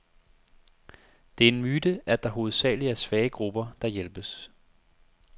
Det er en myte, at det hovedsageligt er svage grupper, der hjælpes.